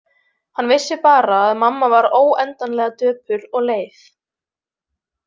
Hann vissi bara að mamma var óendanlega döpur og leið.